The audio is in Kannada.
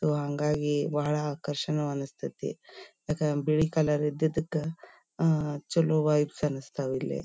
ಅದು ಹಾಂಗಾಗಿ ಬಹಳ ಆಕರ್ಷಣ ಅಂಸ್ಥೈತಿ ಅಕಾ ಬಿಳಿ ಕಲರ್ ಇದ್ದಿದಕ್ಕ ಅಹ್ ಚಲೋ ವಯ್ಬ್ಸ್ ಅನ್ಸ್ತಾವ್ ಇಲ್ಲೆ.